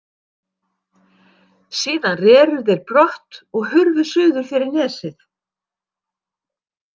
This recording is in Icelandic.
Síðan reru þeir brott og hurfu suður fyrir nesið.